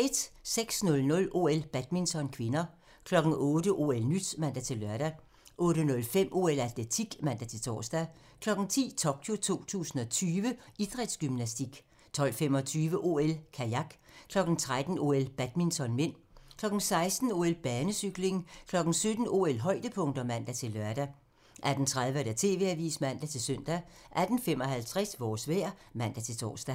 06:00: OL: Badminton (k) 08:00: OL-nyt (man-lør) 08:05: OL: Atletik (man-tor) 10:00: Tokyo 2020: Idrætsgymnastik 12:25: OL: Kajak 13:00: OL: Badminton (m) 16:00: OL: Banecykling 17:00: OL-højdepunkter (man-lør) 18:30: TV-avisen (man-søn) 18:55: Vores vejr (man-tor)